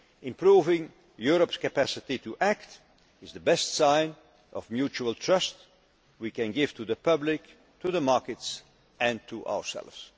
reaction. Improving Europe's capacity to act is the best sign of mutual trust we can give to the public, the markets and ourselves.